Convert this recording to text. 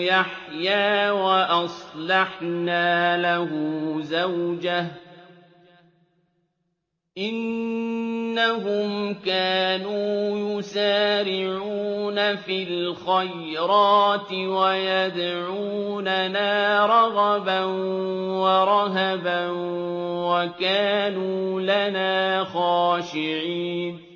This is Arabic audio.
يَحْيَىٰ وَأَصْلَحْنَا لَهُ زَوْجَهُ ۚ إِنَّهُمْ كَانُوا يُسَارِعُونَ فِي الْخَيْرَاتِ وَيَدْعُونَنَا رَغَبًا وَرَهَبًا ۖ وَكَانُوا لَنَا خَاشِعِينَ